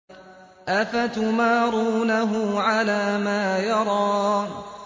أَفَتُمَارُونَهُ عَلَىٰ مَا يَرَىٰ